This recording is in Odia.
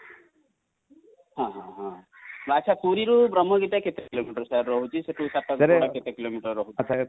ହଁ ଆଚ୍ଛା ପୁରୀ ରୁ ବ୍ରହ୍ମଗିରି ଟା କେତେ କିଲୋମେଟର sir ରହୁଛି ?ସେଠୁ ସାତପଡ଼ା କେତେ କିଲୋମିଟର ରହୁଛି ?